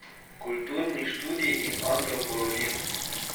Kulturni študiji in antropologija.